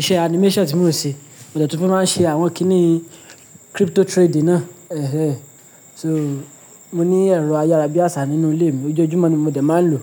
iṣẹ́ animation tí mò ń ṣe, mo de tí mo máa ń ṣe àwọn kíní crypto trading náà. Ẹ̀ hẹ̀n. So, mo ní ẹ̀rọ ayárabíàṣá nínú ilé mi, ọjojùmo ni mo dẹ̀ máa ń lò.